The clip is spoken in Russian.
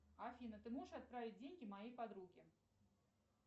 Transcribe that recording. афина ты можешь отправить деньги моей подруге